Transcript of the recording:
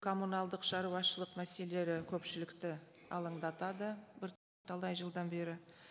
коммуналдық шаруашылық мәселелері көпшілікті алаңдатады бірталай жылдан бері